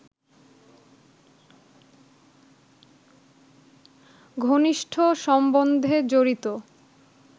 ঘনিষ্ঠ সম্বন্ধে জড়িত